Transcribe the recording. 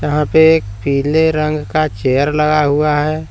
यहां पे एक पीले रंग का चेयर लगा हुआ है।